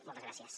moltes gràcies